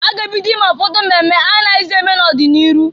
A ga ebido ime ụfọdụ mmemme anaghịzị eme n'ọdị n'iru.